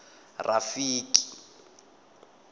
rafiki